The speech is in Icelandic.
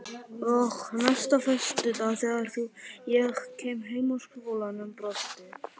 Og næsta föstudag þegar ég kom heim úr skólanum brosti